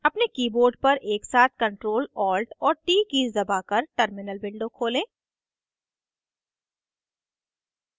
अपने keyboard पर एक साथ ctrl alt और t कीज़ दबाकर terminal window खोलें